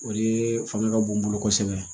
O de fanga ka bon n bolo kosɛbɛ